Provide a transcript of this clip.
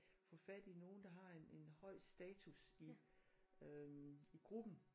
Få fat i nogen der har en en høj status i øh i gruppen